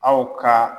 Aw ka